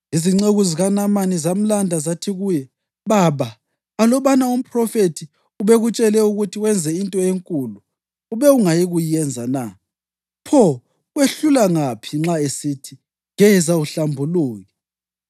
Izinceku zikaNamani zamlanda zathi kuye, “Baba, alubana umphrofethi ubekutshele ukuthi wenze into enkulu ube ungayikuyenza na? Pho, kwehlula ngaphi nxa esithi, ‘Geza uhlambuluke’!”